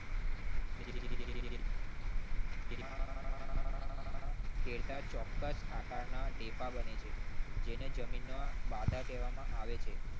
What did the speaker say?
કેતા ચોક્કસ આકારના ઢેફા બને છે જેને જમીનનો બાધા કહેવામાં આવે છે.